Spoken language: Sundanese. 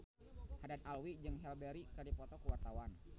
Haddad Alwi jeung Halle Berry keur dipoto ku wartawan